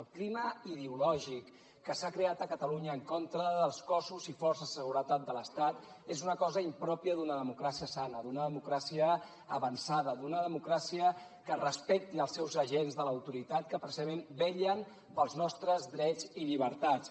el clima ideològic que s’ha creat a catalunya en contra dels cossos i forces de seguretat de l’estat és una cosa impròpia d’una democràcia sana d’una democràcia avançada d’una democràcia que respecti els seus agents de l’autoritat que precisament vetllen pels nostres drets i llibertats